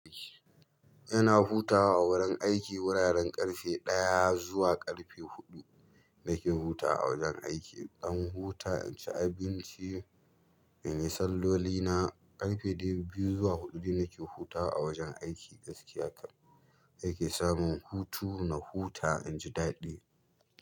Yana hutawa a wurin aiki, wuraren ƙarfe ɗaya zuwa ƙarfe huɗu nake hutawa a wajen aiki. Ɗan huta in ci abinci, in yi salloli na ƙarfe dai biyu zuwa huɗu nake hutawa a wajen aiki gaskiya kam. Ai ke samun hutu na huta in ji daɗi.